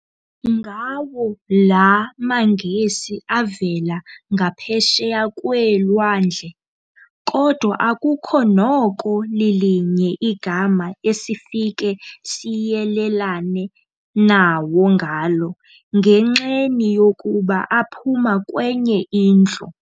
Ngawo laa maNgesi avela ngaphesheya kweelwandle, kodwa akukho noko lilinye igama esifike siyelelane nawo ngalo, ngenxeni yokuba aphuma kwenye indlu.